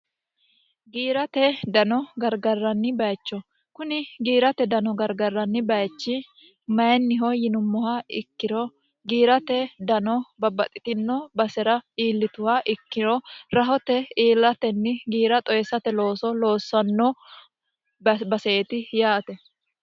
giirate dano gargarranni bayicho kuni giirate dano gargarranni bayichi mayinniho yinummoha ikkiro giirate dano babbaxitino basera iillituha ikkiro rahote iillatenni giira xoyissate looso loossanno baseeti yaate